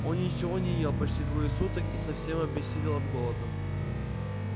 он ничего не ел почти двое суток и совсем обессилел от голода